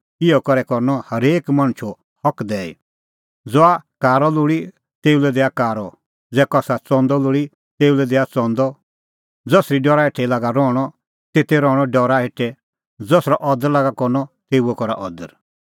इहअ करै करनअ हरेकी मणछो हक दैई ज़हा कारअ लोल़ी तेऊ लै दैआ कारअ ज़ै कसा च़ंदअ लोल़ी तेऊ लै दैआ च़ंदअ ज़सरी डरा हेठै लागा रहणअ तेते रहणअ डरा हेठै ज़सरअ अदर लागा करनअ तेऊओ करा अदर